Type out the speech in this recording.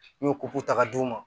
N'i y'o ta ka d'u ma